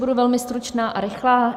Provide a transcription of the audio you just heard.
Budu velmi stručná a rychlá.